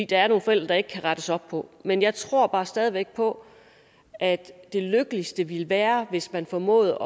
der er nogle forældre der ikke kan rettes op på men jeg tror bare stadig væk på at det lykkeligste ville være hvis man formåede